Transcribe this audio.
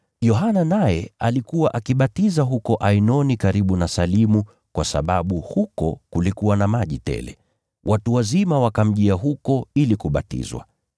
Yohana naye alikuwa akibatiza huko Ainoni karibu na Salimu kwa sababu huko kulikuwa na maji tele. Watu wazima wakamjia huko ili kubatizwa.